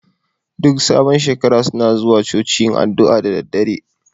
Duk sabon shekara suna zuwa Coci yin addu'a da daddare